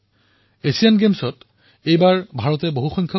পেৰা Asian গেমছতো ভাৰতে উন্নত প্ৰদৰ্শন কৰিলে